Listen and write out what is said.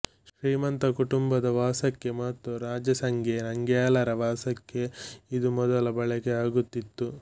ಶ್ರೀಮಂತ ಕುಟುಂಬದ ವಾಸಕ್ಕೆ ಮತ್ತು ರಾಜ ಸೆಂಗ್ಯೆ ನಂಗ್ಯಾಲರ ವಾಸಕ್ಕೆ ಇದು ಮೊದಲು ಬಳಕೆ ಆಗುತ್ತಿತ್ತು